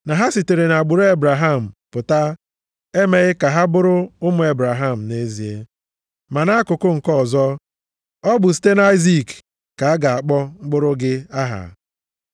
Na ha sitere nʼagbụrụ Ebraham pụta emeghị ka ha bụrụ ụmụ Ebraham nʼezie. Ma nʼakụkụ nke ọzọ, “Ọ bụ site nʼAịzik ka a ga-akpọ mkpụrụ gị aha.” + 9:7 \+xt Jen 21:12\+xt*